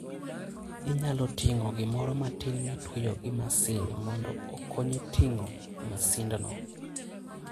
Inyalo ting'o gimoro matin mitweyo gi masin mondo okonyi ting'o masindno.